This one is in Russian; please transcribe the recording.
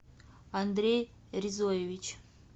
андрей резоевич